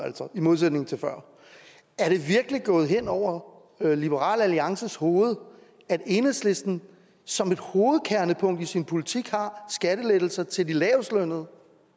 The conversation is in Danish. altså er det virkelig gået hen over liberal alliances hoved at enhedslisten som et hovedkernepunkt i sin politik har skattelettelser til de lavestlønnede